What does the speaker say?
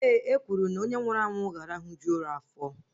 Ee, e kwuru na onye nwụrụ anwụ ga-arahuju ụra afọ